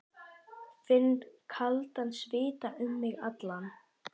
Finn kaldan svita um mig alla.